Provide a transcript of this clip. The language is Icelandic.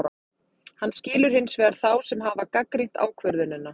Hann skilur hins vegar þá sem hafa gagnrýnt ákvörðunina.